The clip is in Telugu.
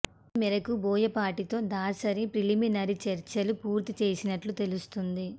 ఈ మేరకు బోయపాటితో దాసరి ప్రిలిమినరీ చర్చలు పూర్తి చేసినట్లు తెలుస్తోంది